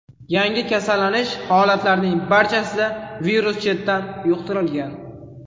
Yangi kasallanish holatlarining barchasida virus chetdan yuqtirilgan.